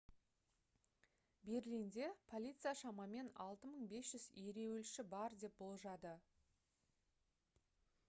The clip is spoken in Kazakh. берлинде полиция шамамен 6500 ереуілші бар деп болжады